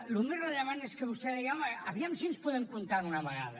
el més rellevant és que vostè deia home a veure si ens podem comptar d’una vegada